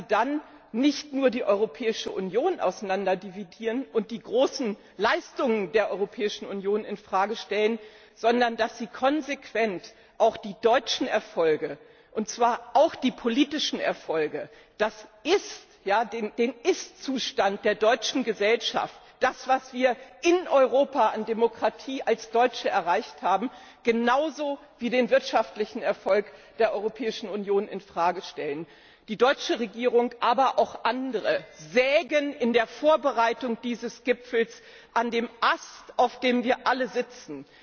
dann nicht nur die Europäische Union auseinanderdividieren und die großen Leistungen der Europäischen Union in Frage stellen, sondern dass sie konsequent auch die deutschen Erfolge, also auch die politischen Erfolge, den Ist Zustand der deutschen Gesellschaft, das, was wir in Europa an Demokratie als Deutsche erreicht haben, genauso wie den wirtschaftlichen Erfolg der Europäischen Union in Frage stellen. Die deutsche Regierung, aber auch andere, sägen bei der Vorbereitung dieses Gipfels an dem Ast, auf dem wir alle sitzen.